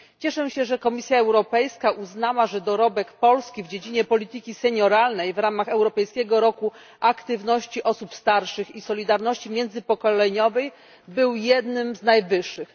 Cieszę się, że Komisja Europejska uznała, że dorobek Polski w dziedzinie polityki senioralnej w ramach Europejskiego roku aktywności osób starszych i solidarności międzypokoleniowej był jednym z największych.